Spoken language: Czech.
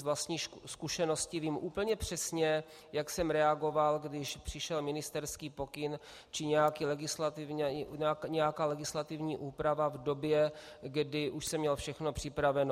Z vlastní zkušenosti vím úplně přesně, jak jsem reagoval, když přišel ministerský pokyn či nějaká legislativní úprava v době, kdy už jsem měl všechno připraveno.